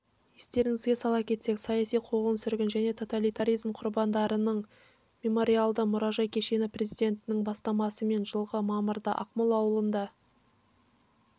естеріңізге сала кетсек саяси қуғын-сүргін және тоталитаризм құрбандарының мемориалды-мұражай кешені президентінің бастамасымен жылғы мамырда ақмол ауылында